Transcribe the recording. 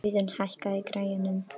Auðun, hækkaðu í græjunum.